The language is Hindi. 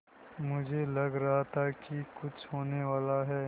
मुझे लग रहा था कि कुछ होनेवाला है